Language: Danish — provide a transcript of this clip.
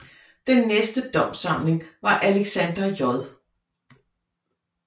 Den næste domssamling var Alexander J